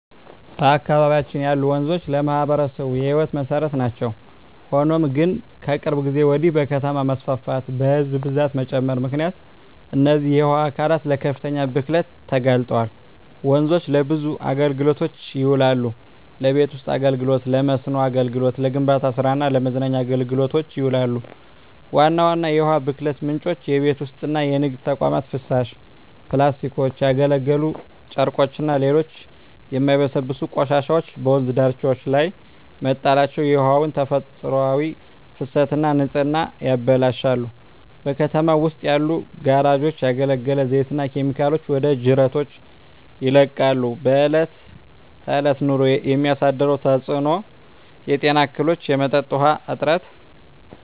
በአካባቢያችን ያሉ ወንዞች ለማኅበረሰቡ የሕይወት መሠረት ናቸው። ሆኖም ግን፣ ከቅርብ ጊዜ ወዲህ በከተማ መስፋፋትና በሕዝብ ብዛት መጨመር ምክንያት እነዚህ የውሃ አካላት ለከፍተኛ ብክለት ተጋልጠዋል። ወንዞች ለብዙ አገልግሎቶች ይውላሉ። ለቤት ውስጥ አገልግሎ፣ ለመስኖ አገልግሎት፣ ለግንባታ ስራ እና ለመዝናኛ አገልግሎቶች ይውላሉ። ዋና ዋና የውሃ ብክለት ምንጮች:- የቤት ውስጥና የንግድ ተቋማት ፍሳሽ፣ ፕላስቲኮች፣ ያገለገሉ ጨርቆችና ሌሎች የማይበሰብሱ ቆሻሻዎች በወንዝ ዳርቻዎች ላይ መጣላቸው የውሃውን ተፈጥሯዊ ፍሰትና ንጽህና ያበላሻሉ። በከተማው ውስጥ ያሉ ጋራዦች ያገለገለ ዘይትና ኬሚካሎችን ወደ ጅረቶች ይለቃሉ። በእለት በእለት ኑሮ የሚያሳድረው ተጽኖ:- የጤና እክሎች፣ የመጠጥ ውሀ እጥረት…